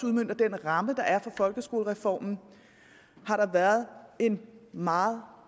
udmønte den ramme der er for folkeskolereformen har der været en meget